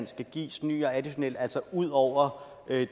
skal gives ny og additionel altså er udover